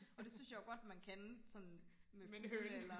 og det synes jeg jo godt man kan sådan med fugle eller